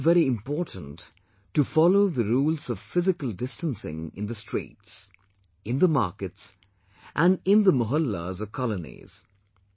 It is still very important to follow the rules of physical distancing in the streets, in the markets and in the mohallas or colonies